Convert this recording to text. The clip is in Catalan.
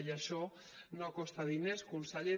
i això no costa diners conseller